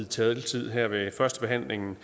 taletiden her ved førstebehandlingen